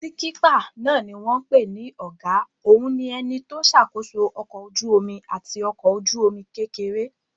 Síkípà náà ni wọ́n n pè ní ọ̀gá òun ni ẹni tó n ṣàkóso ọkọ̀ ojú-omi àti ọkọ̀ ojú-omi kékeré